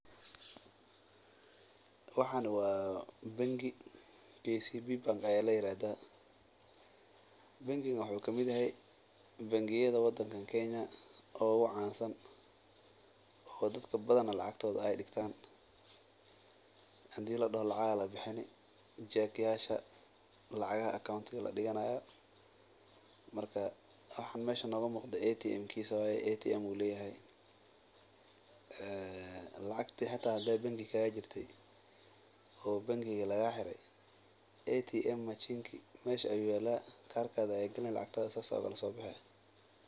Waxaan waa bangi kcb ayaa ladahaa wuxuu kamid yahay bangiyada oogu cansan oo dadka lacagtooda aay digtaa waxaan meesha nooga muuqato waa atm karkada ayaa galini lacagta waa lasoo bixi.